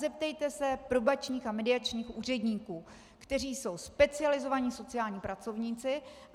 Zeptejte se probačních a mediačních úředníků, kteří jsou specializovaní sociální pracovníci.